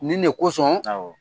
Nin de kosɔn, awɔ.